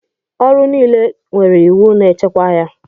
Ọrụ niile nwere iwu na-echekwa ya.